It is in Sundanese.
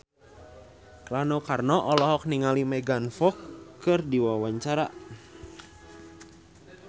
Rano Karno olohok ningali Megan Fox keur diwawancara